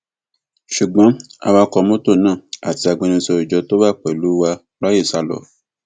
ṣùgbọn awakọ mọtò náà àti agbẹnusọ ìjọ tó wà pẹlú wa ráàyè sá lọ